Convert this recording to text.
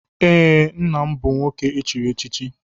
Ee, nna m bụ nwoke echiri echichi.